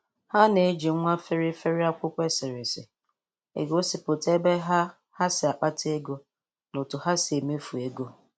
Ha na-eji nwa feri feri akwụkwọ eserese egosịpụta ebe ha ha si akpata ego na otu ha si emefu ego